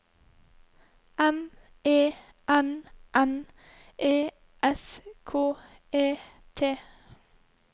M E N N E S K E T